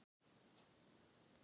Nú er sá tími úti.